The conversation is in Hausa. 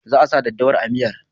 Za a sa daddawar a miyar.